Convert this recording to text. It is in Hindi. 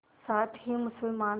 साथ ही मुसलमान